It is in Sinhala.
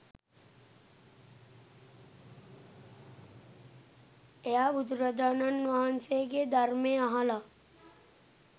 එයා බුදුරජාණන් වහන්සේගේ ධර්මය අහලා